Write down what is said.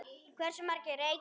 Hversu margir reykja?